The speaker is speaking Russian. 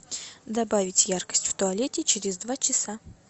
добавить яркость в туалете через два часа